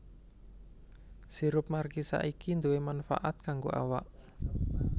Sirup markisa iki duwè manfaat kanggo awak